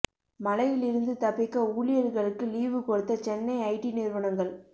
மழையில் இருந்து தப்பிக்க ஊழியர்களுக்கு லீவு கொடுத்த சென்னை ஐடி நிறுவனங்கள்